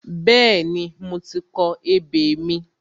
Bẹ́ẹ̀ni, mo ti kọ ebè mi.